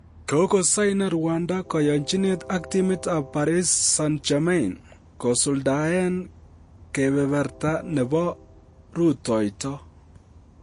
Kogosainen Rwanda koyonchinet ak timit ab Paris Saint-German kisuldaen kebeberta nebo rutoito.